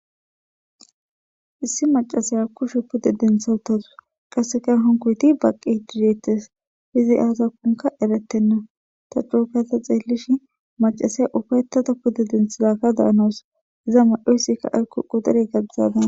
issi macasaya kushe pudde dentha wutazu qasseka honkoyti baqi didettes izi aasa konka eretenna ta cuokata xeellish macasay ufaytata pudde denthidakka daanoos iza madoysikka aykuqu dere gabizaadan